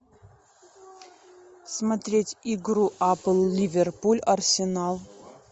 смотреть игру апл ливерпуль арсенал